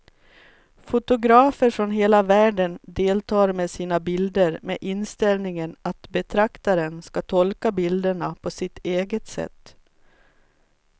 Fotografer från hela världen deltar med sina bilder med inställningen att betraktaren ska tolka bilderna på sitt eget sätt.